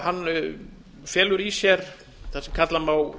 hann felur í sér það sem kalla má